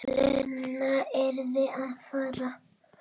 Lena yrði að fara.